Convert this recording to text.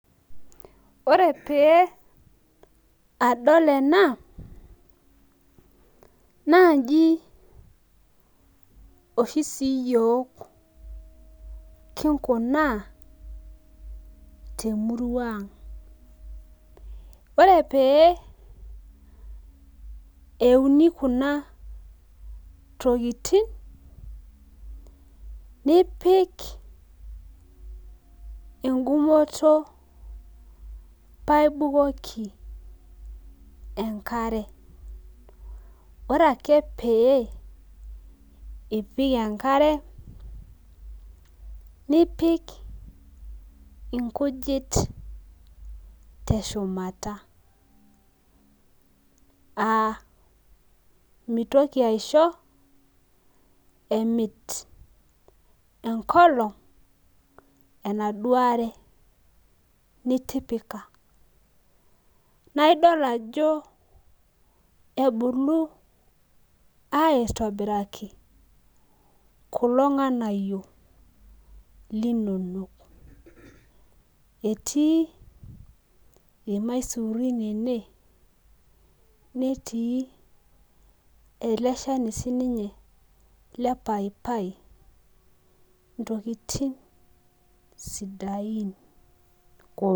Wore pee adol ena, naa inji oshi siyiok kingunaa temurua ang'. Wore pee euni kuna tokitin, nipik enkugomoto paa ibukoki enkare. Wore ake pee ipik enkare, nipik inkujit teshumata, aa mitoki aisho emit enkolong' enaduo are nitipika. Naa idol ajo, ebulu aitobiraki kulo nganayio linonok. Etii ilmaisurin ene, netii ele shani sininye lepaipai, intokitin sidain